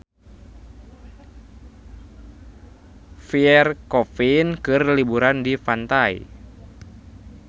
Pierre Coffin keur liburan di pantai